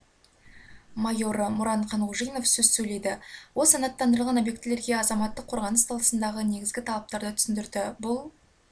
майоры мұран қанғожинов сөз сөйледі ол санаттандырылған объектілерге азаматтық қорғаныс саласындағы негізгі талаптарды түсіндірді бұл